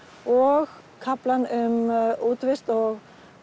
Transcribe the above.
og kaflann um útivist og